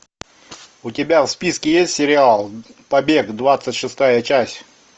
у тебя в списке есть сериал побег двадцать шестая часть